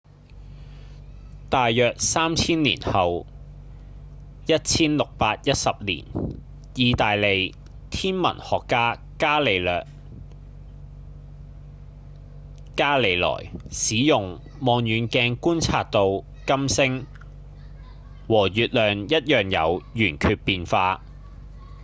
大約三千年後1610年義大利天文學家伽利略·伽利萊使用望遠鏡觀察到金星和月亮一樣有圓缺變化